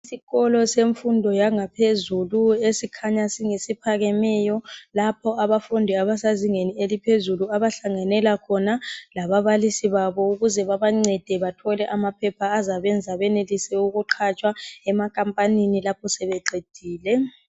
Isikolo semfundo yangaphezulu esikhanya singesiphakemeyo lapho abafundi abasezingeni eliphezulu abahlanganela khona lababalisi babo ukuze babancede bathole amaphepha azabenza benelise ukuqhatshwa emakhampanini lapho sebeqedile.